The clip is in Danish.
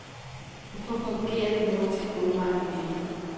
Hvorfor fungerer det nordiske bogmarked ikke.